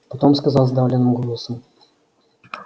потом сказал сдавленным голосом